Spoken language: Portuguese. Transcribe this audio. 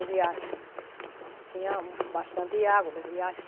O riacho, tinha bastante água no riacho.